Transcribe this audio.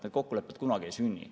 Need kokkulepped kunagi ei sünni.